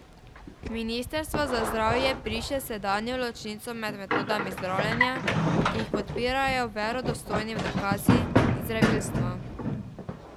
Ministrstvo za zdravje briše sedanjo ločnico med metodami zdravljenja, ki jih podpirajo verodostojni dokazi, in zdravilstvom.